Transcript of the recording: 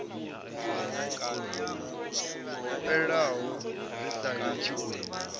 fhelaho ri sa litshi u